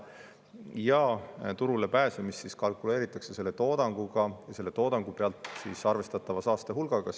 Ja turule pääsemist kalkuleeritakse teatud toodanguga ja selle toodangu pealt arvestatava saastehulgaga.